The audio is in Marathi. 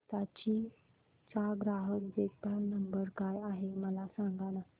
हिताची चा ग्राहक देखभाल नंबर काय आहे मला सांगाना